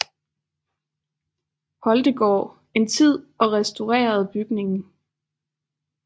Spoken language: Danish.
Holtegaard en tid og restaurerede bygningen